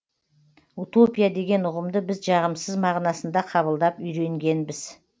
утопия деген ұғымды біз жағымсыз мағынасында қабылдап үйренгенбіз